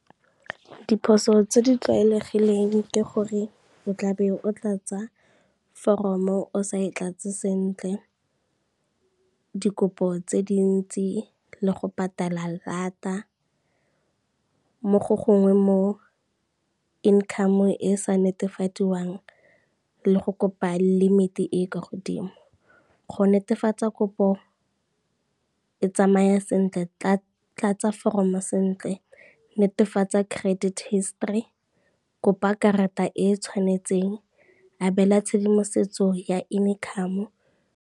Diphoso tse di tlwaelegileng ke gore, o tla be o tlatsa foromo o sa e tlatse sentle, dikopo tse dintsi le go patala lata, mo go gongwe mo income e e sa netefadiwang le go kopa limit e e kwa godimo. Go netefatsa kopo e tsamaya sentle tlatsa foromo sentle, netefatsa credit history, kopa karata e e tshwanetseng, abela tshedimosetso ya income.